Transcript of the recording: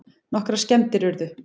Nokkrar skemmdir urðu